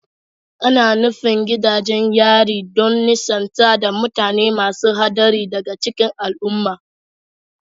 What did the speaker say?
Ana nufin gidajen yari don nisantar da mutane masu haɗari daga cikin al'umma